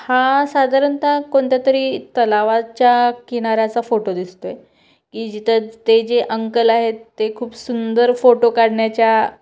हा साधारणता कोणत्या तरी तलवाच्या किनाऱ्याच्या फोटो दिसतोय की जिथं ते जे अंकल आहेत ते खूप सुंदर फोटो काढण्याच्या--